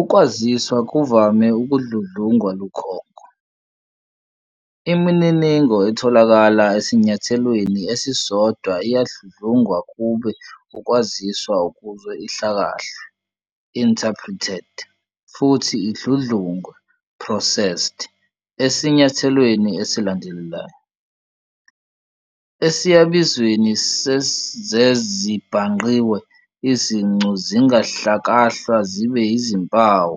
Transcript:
Ukwaziswa kuvame Ukudludlungwa lukhonko. Imininingo etholakala esinyathelweni esisodwa iyadludlungwa kube ukwaziswa ukuze ihlakahlwe, "interpreted" futhi idludlungwe, "processed" esinyathelweni esilandelayo. Esiyabizweni sezezibhangqiwe izincu zingahlakahlwa zibe izimpawu,